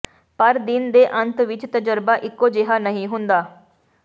ਪਰ ਦਿਨ ਦੇ ਅੰਤ ਵਿਚ ਤਜਰਬਾ ਇਕੋ ਜਿਹਾ ਨਹੀਂ ਹੁੰਦਾ